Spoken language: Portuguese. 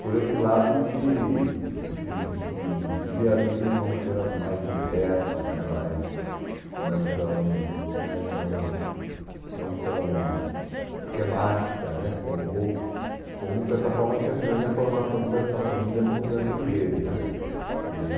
Por esse lado de de de de ver a vida de uma maneira mais diversa, né mais, não tão, né, não não tão, esquemática né, como como de certa forma tinha sido a minha formação, tanto na família como no Dante Alighieri né. E